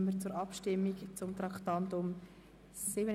Dann kommen wir zur Abstimmung zum Traktandum 37.